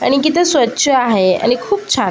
आणि किती स्वच्छ आहे आणि खूप छान.